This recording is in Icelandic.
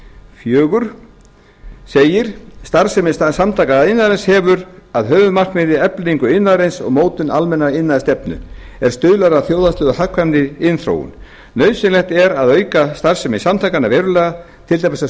fjögur segir starfsemi samtaka iðnaðarins hefur að höfuðmarkmiði eflingu iðnaðarins og mótun almennrar iðnaðarstefnu er stuðlar að þjóðhagslega hagkvæmri iðnþróun nauðsynlegt er að auka starfsemi samtakanna verulega til dæmis á